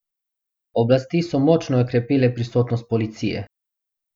Oblasti so močno okrepile prisotnost policije.